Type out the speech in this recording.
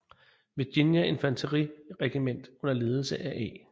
Virginia Infanteriregiment under ledelse af A